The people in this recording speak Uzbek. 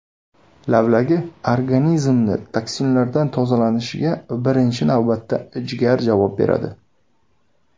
Lavlagi Organizmni toksinlardan tozalanishiga birinchi navbatda jigar javob beradi.